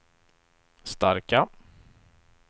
starka